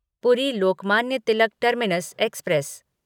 पूरी Lokmanya Tilak terminus express